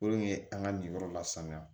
Olu ye an ka nin yɔrɔ lasanuya